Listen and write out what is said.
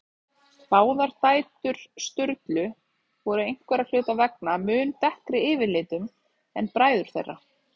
Báðar dætur Sturlu voru einhverra hluta vegna mun dekkri yfirlitum en bræður þeirra.